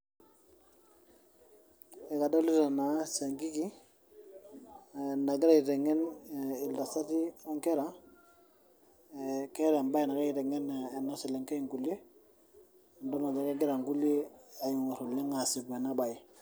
Adolita naa siankiki ,nagira aiteng'en ntasati o nkera. Keata embae nagira aiteng'en ena selenkei inkulie, nidol ajo kegira nkulie aasipu oleng' ena bae.